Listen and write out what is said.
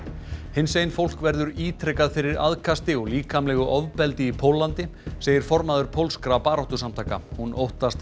hinsegin fólk verður ítrekað fyrir aðkasti og líkamlegu ofbeldi í Póllandi segir formaður pólskra baráttusamtaka hún óttast